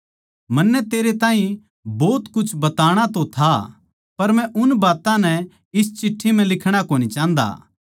मन्नै तेरै ताहीं भोत कुछ बताणा तो था पर मै उन बात्तां नै इस चिट्ठी म्ह लिखणा कोनी चाहन्दा